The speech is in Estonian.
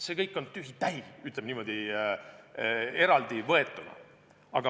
See kõik on tühi-tähi, ütleme, niimoodi eraldi võetuna.